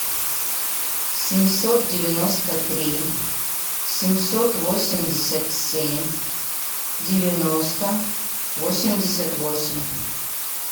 семьсот девяносто три семьсот восемьдесят семь девяносто восемьдесят восемь